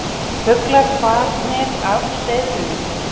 Fuglar farnir af hreiðrunum